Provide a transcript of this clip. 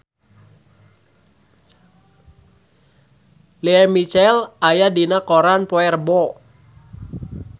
Lea Michele aya dina koran poe Rebo